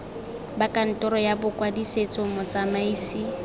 ba kantoro ya bokwadisetso motsamaisi